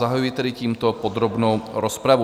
Zahajuji tedy tímto podrobnou rozpravu.